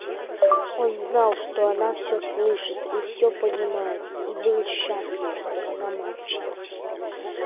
он знал что она всё слышит и всё понимает и был счастлив что она молчит